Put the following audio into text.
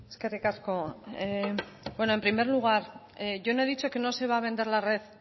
eskerrik asko en primer lugar yo no he dicho que no se va a vender la red